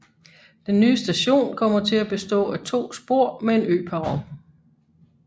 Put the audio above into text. Den nye station kommer til at bestå af to spor med en øperron